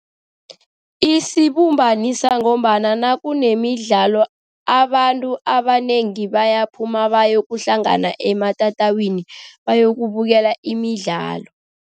Isibumbanisa ngombana nakunemidlalo, abantu abanengi bayaphuma bayokuhlangana ematatawini, bayokubukela imidlalo.